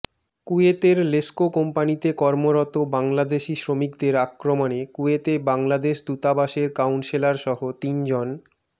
কুয়েতের লেসকো কোম্পানিতে কর্মরত বাংলাদেশি শ্রমিকদের আক্রমণে কুয়েতে বাংলাদেশ দূতাবাসের কাউন্সেলরসহ তিনজন